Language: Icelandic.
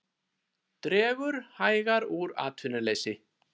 Dregur hægar úr atvinnuleysi